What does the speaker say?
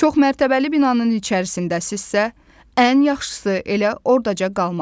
Çoxmərtəbəli binanın içərisindəsinizsə, ən yaxşısı elə ordaca qalmaqdır.